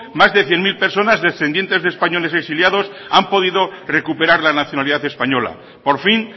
más de cien mil personas descendientes de españoles exiliados han podido recuperar la nacionalidad española por fin